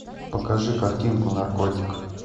покажи картинку наркотик